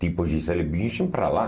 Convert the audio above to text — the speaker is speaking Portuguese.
Tipo Gisele Bündchen para lá.